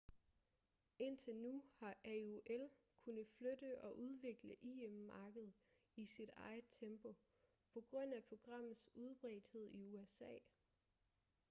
indtil nu har aol kunnet flytte og udvikle im-markedet i sit eget tempo på grund af programmets udbredthed i usa